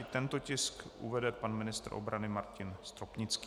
I tento tisk uvede pan ministr obrany Martin Stropnický.